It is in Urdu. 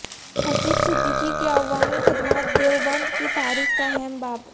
حسیب صدیقی کی عوامی خدمات دیوبند کی تاریخ کا اہم باب